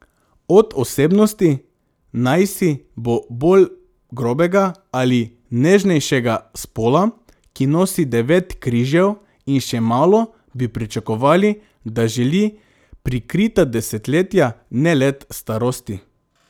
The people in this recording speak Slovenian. Od osebnosti, najsi bo bolj grobega ali nežnejšega spola, ki nosi devet križev in še malo, bi pričakovali, da želi prikrita desetletja, ne let starosti.